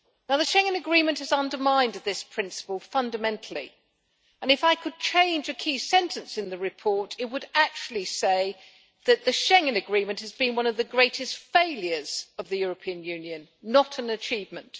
The Schengen agreement has undermined this principle fundamentally, and if I could change a key sentence in the report, it would actually say that the Schengen agreement has been one of the greatest failures of the European Union, not an achievement.